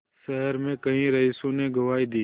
शहर में कई रईसों ने गवाही दी